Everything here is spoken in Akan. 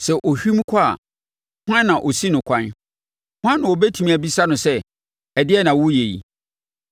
Sɛ ɔhwim kɔ a, hwan na ɔsi no kwan? Hwan na ɔbɛtumi abisa no sɛ, ‘Ɛdeɛn na woreyɛ yi?’